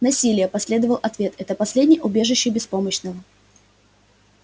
насилие последовал ответ это последнее убежище беспомощного